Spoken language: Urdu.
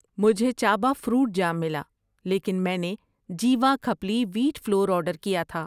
مجھے چابا فروٹ جام ملا لیکن میں نے Jiva khapli wheat flour order کیا تھا۔